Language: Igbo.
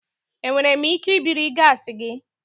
Enwere m ike ibiri gaasi gị?